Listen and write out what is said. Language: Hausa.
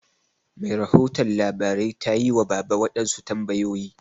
Mai rahoton labarai tayi wa baba waɗansu tambayoyi.